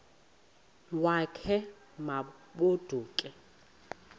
wakhe ma baoduke